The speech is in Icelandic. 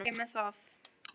Allt í lagi með það.